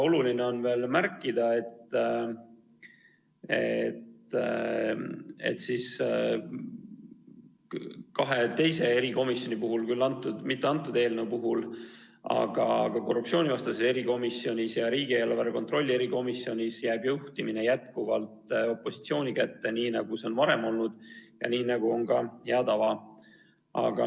Oluline on veel märkida, et kahes teises erikomisjonis, küll mitte antud eelnõu puhul, aga korruptsioonivastases erikomisjonis ja riigieelarve kontrolli erikomisjonis jääb juhtimine jätkuvalt opositsiooni kätte, nii nagu see on varem olnud ja nii nagu on ka hea tava.